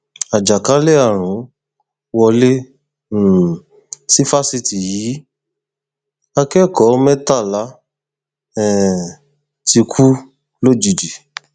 àjàkálẹ àrùn wọlé um sí fásitì yìí akẹkọọ mẹtàlá um ti kú lójijì